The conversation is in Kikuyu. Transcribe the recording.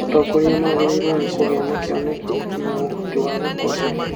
Atongoria magĩrĩirwo nĩ kũgĩa na kĩoneki na ũhoti wa gũkũria